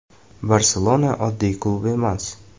“Barselona” oddiy klub emas.